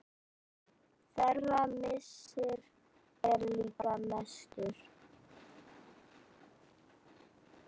Þeirra missir er líka mestur.